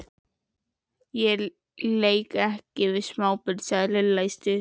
Ég leik ekki við smábörn sagði Lilla stutt í spuna.